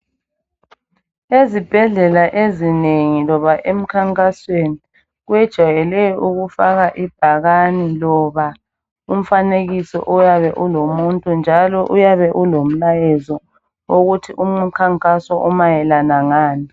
Ezibhedlela ezinengi loba emikhankasweni kwejayele ukufaka ibhakane loba umfanekiso oyabe ulomuntu njalo uyabe ulomlayezo ukuthi umkhankaso umayelana lani.